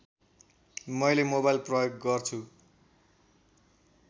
मैले मोबाइल प्रयोग गर्छु